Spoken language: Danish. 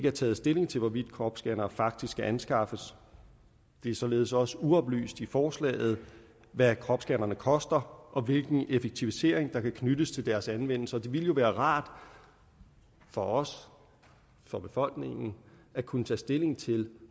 er taget stilling til hvorvidt kropsscannere faktisk skal anskaffes det er således også uoplyst i forslaget hvad kropsscannerne koster og hvilken effektivisering der kan knyttes til deres anvendelse og det ville jo være rart for os for befolkningen at kunne tage stilling til